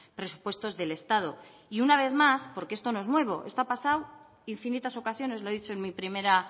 presupuestos del estado y una vez más porque esto no es nuevo esto ha pasado infinitas ocasiones lo he dicho en mi primera